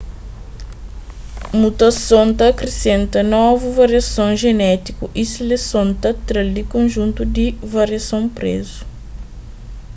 mutason ta akrisenta novu variason jenétiku y seleson ta tra-l di konjuntu di variason spresu